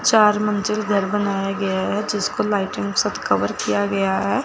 चार मंजिल घर बनाया गया है जिसको लाइटिंग साथ कवर किया गया है।